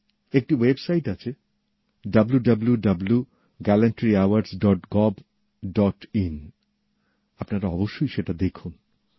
একটি ওয়েবসাইট আছে W W W gallantry awards dot gov dot in আপনারা অবশ্যই সেটা দেখুন